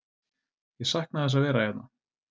Ég sakna þess að vera hérna.